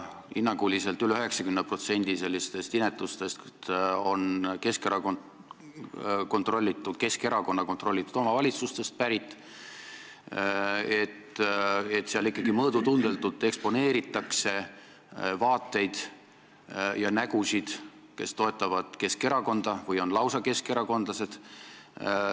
Hinnanguliselt üle 90% sellistest inetustest on pärit Keskerakonna kontrollitud omavalitsustest, kus ikkagi mõõdutundetult eksponeeritakse Keskerakonna vaateid ja nägusid, kes toetavad Keskerakonda või on lausa keskerakondlased.